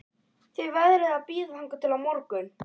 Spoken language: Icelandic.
Þið verðið að bíða þangað til á morgun